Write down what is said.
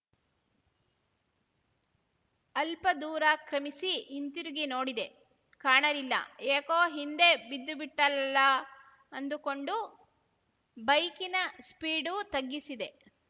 ಅಲ್ಪ ದೂರ ಕ್ರಮಿಸಿ ಹಿಂದಿರುಗಿ ನೋಡಿದೆ ಕಾಣಲಿಲ್ಲ ಯಾಕೋ ಹಿಂದೆ ಬಿದ್ದುಬಿಟ್ಟಳಲ್ಲ ಅಂದುಕೊಂಡು ಬೈಕಿನ ಸ್ಪೀಡು ತಗ್ಗಿಸಿದೆ